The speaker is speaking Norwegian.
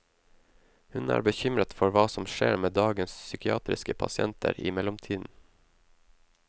Hun er bekymret for hva som skjer med dagens psykiatriske pasienter i mellomtiden.